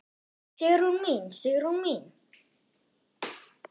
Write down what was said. Sigrún mín, Sigrún mín.